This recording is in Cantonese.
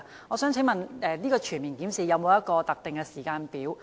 我想問全面檢視的工作是否有特定的時間表？